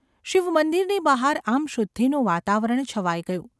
શિવમંદિરની બહાર આમ શુદ્ધિનું વાતાવરણ છવાઈ ગયું.